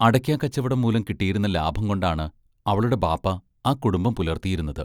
അടയ്ക്കാക്കച്ചവടം മൂലം കിട്ടിയിരുന്ന ലാഭം കൊണ്ടാണ് അവളുടെ ബാപ്പ ആ കുടുംബം പുലർത്തിയിരുന്നത്.